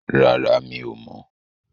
Rárá, mi ò mọ̀.